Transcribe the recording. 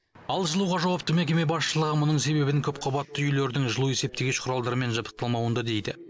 ал жылуға жауапты мекеме басшылығы мұның себебін көпқабатты үйлердің жылу есептегіш құралдармен жабдықталмауында дейді